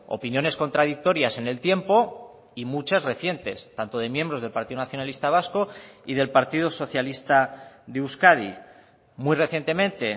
opiniones contradictorias en el tiempo y muchas recientes tanto de miembros del partido nacionalista vasco y del partido socialista de euskadi muy recientemente